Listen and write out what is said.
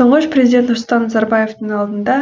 тұңғыш президент нұрсұлтан назарбаевтың алдында